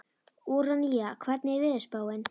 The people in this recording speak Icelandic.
Úranía, hvernig er veðurspáin?